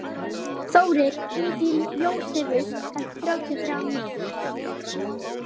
Hann er dálítið í þannig pælingum.